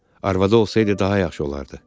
arvadı olsaydı daha yaxşı olardı.